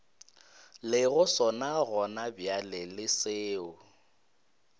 lego sona gonabjale le seo